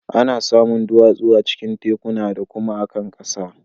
Ana samun duwatsu a cikin tekuna da kuma a kan ƙasa.